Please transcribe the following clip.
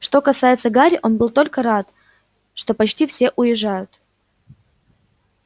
что касается гарри он был только рад что почти все уезжают